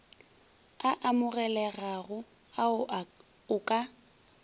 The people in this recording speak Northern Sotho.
a amogelegago ao o ka